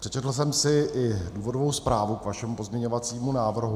Přečetl jsem si i důvodovou zprávu k vašemu pozměňovacímu návrhu.